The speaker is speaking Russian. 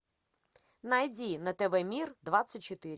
найди на тв мир двадцать четыре